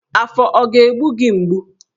Afọ ọ ga-egbu gị mgbu?